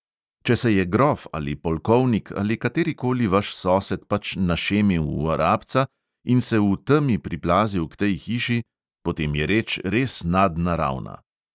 "Če se je grof ali polkovnik ali katerikoli vaš sosed pač našemil v arabca in se v temi priplazil k tej hiši – potem je reč res nadnaravna."